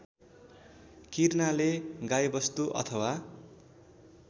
किर्नाले गाईवस्तु अथवा